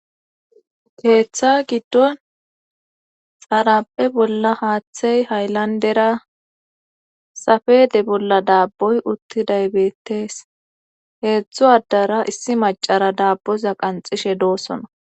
keeththa giddon xarape bolla haaththey hayllandera safede bolla daabboy uttidaybettees heedzdzu addara issi macara daabboza qanxishe doosona